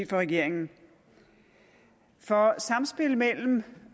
for regeringen for samspillet mellem